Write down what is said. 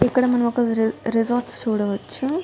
ఇక్కడ మనము ఒక రిసార్ట్ చూడవచ్చు.